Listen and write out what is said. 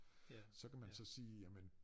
Så kan man så sige jamen